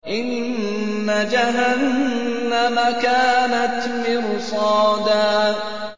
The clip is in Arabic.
إِنَّ جَهَنَّمَ كَانَتْ مِرْصَادًا